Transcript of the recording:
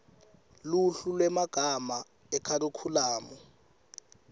luhlu lwemagama ekharikhulamu